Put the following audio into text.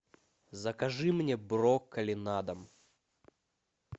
закажи мне брокколи на дом